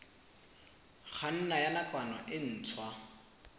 kganna ya nakwana e ntshwa